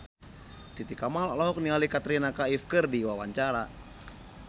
Titi Kamal olohok ningali Katrina Kaif keur diwawancara